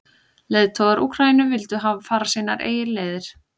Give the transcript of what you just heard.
Leiðtogar Úkraínu vildu fara sínar eigin leiðir.